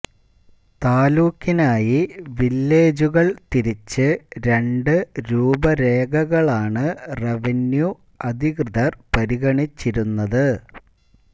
താലൂക്കിനായി വില്ലേജുകള് തിരിച്ച് രണ്ട് രൂപരേഖകളാണ് റവന്യൂ അധികൃതര് പരിഗണിച്ചിരുന്നത്